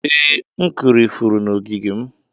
ee, m kụrụ ifuru n'ogige m.